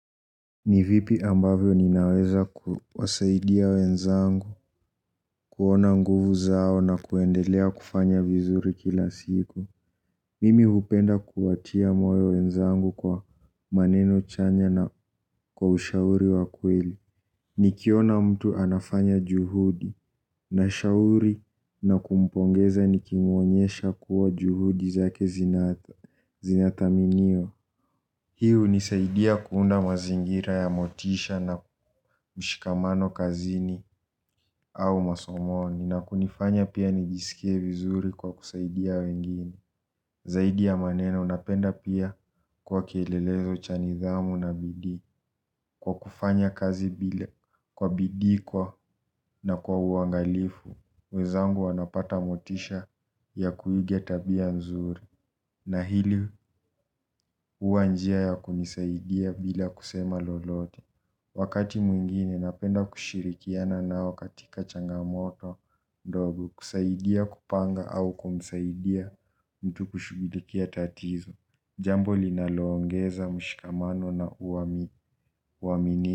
Nivipi ambavyo ninaweza kuwasaidia wenzangu, kuona nguvu zao na kuendelea kufanya vizuri kila siku. Mimi hupenda kuwatia moyo wenzangu kwa maneno chanya na kwa ushauri wakweli. Nikiona mtu anafanya juhudi na shahuri na kumpongeza nikimuonyesha kuwa juhudi zake zinathaminiwa. Hiu nisaidia kuunda mazingira ya motisha na mshikamano kazini au masomoni na kunifanya pia nijisikie vizuri kwa kusaidia wengine. Zaidia maneno napenda pia kuwa kielelezo chani dhamu na bidii. Kwa kufanya kazi bila kwa bidhi kwa na kwa uangalifu, wezangu wanapata motisha ya kuigeta bia nzuri. Na hili uanjia ya kunisaidia bila kusema lolote. Wakati mwingine napenda kushirikiana nao katika changamoto mdogo kusaidia kupanga au kumsaidia mtu kushubidikia tatizo. Jambo linaloongeza mshikamano na uamini.